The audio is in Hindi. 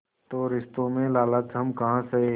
तो रिश्तों में लालच हम काहे सहे